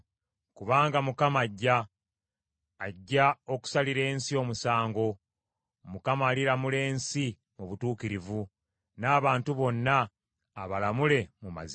Kubanga Mukama ajja; ajja okusalira ensi omusango. Mukama aliramula ensi mu butuukirivu, n’abantu bonna abalamule mu mazima.